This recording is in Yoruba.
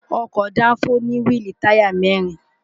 ọkọ̀ dáńfó ní wíìlì táyà mẹ́rin